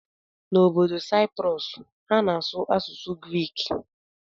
N'obodo Cyprus, ha na-asụ asụsụ Grik.